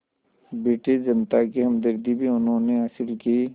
British जनता की हमदर्दी भी उन्होंने हासिल की